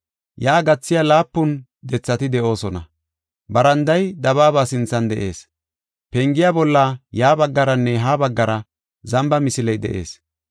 Yaa gathiya laapun dethati de7oosona. Baranday dabaaba sinthan de7ees. Pengiya bolla ya baggaranne ha baggara zamba misiley de7ees.